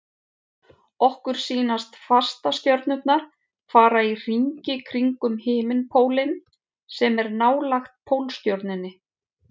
Okkur sýnast fastastjörnurnar fara í hringi kringum himinpólinn sem er nálægt Pólstjörnunni.